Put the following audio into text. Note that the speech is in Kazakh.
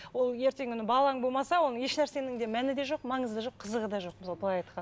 ол ертеңгі күні балаң болмаса оның ешнәрсенің де мәні де жоқ маңызы да жоқ қызығы да жоқ мысалы былай